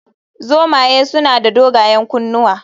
Zomaye suna da dogayen kunnuwa